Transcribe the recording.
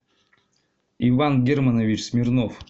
иван германович смирнов